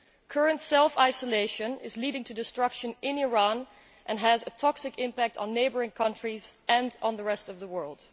Current self isolation is leading to destruction in Iran and has a toxic impact on neighbouring countries and on the rest of the world.